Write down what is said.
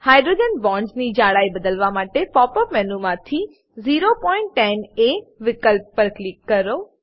hydrogen bonds ની જડાઈ બદલવા માટે પોપ અપ મેનુ માંથી 010 એ વિકલ્પ પર ક્લિક કરો